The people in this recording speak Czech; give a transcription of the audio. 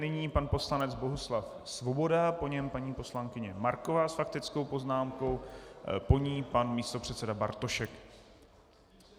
Nyní pan poslanec Bohuslav Svoboda, po něm paní poslankyně Marková s faktickou poznámkou, po ní pan místopředseda Bartošek.